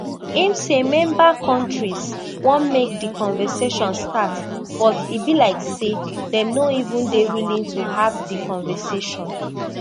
im say member kontris want make di conversation start but e be like say dem no even dey willing to have di conversation